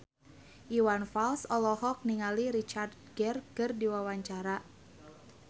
Iwan Fals olohok ningali Richard Gere keur diwawancara